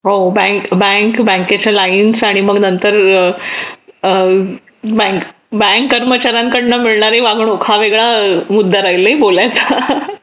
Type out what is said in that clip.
हो बँक बँकेच्या लाईन्स आणि मग नंतर बँक बँक कर्मचाऱ्याकडून मिळणारी वागणूक हा वेगळा मुद्दा राहील नाही बोलायला